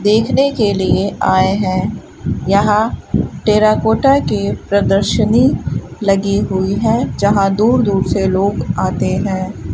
देखने के लिए आए हैं यहां टेराकोटा के प्रदर्शनी लगी हुई है जहां दूर दूर से लोग आते हैं।